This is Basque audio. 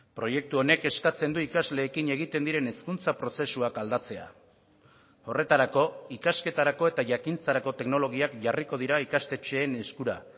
proiektu honek eskatzen du ikasleekin egiten diren hezkuntza prozesuak aldatzea horretarako ikasketarako eta jakintzarako teknologiak jarriko dira ikastetxeen eskura